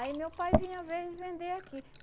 Aí meu pai vinha ven vender aqui.